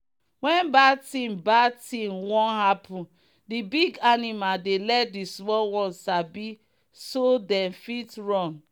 when bad thing bad thing one happen the big animal dey let the small ones sabi so them fit run.